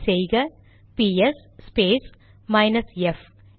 type செய்க PS space minus F